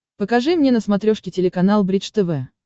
покажи мне на смотрешке телеканал бридж тв